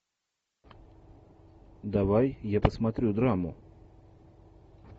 давай я посмотрю драму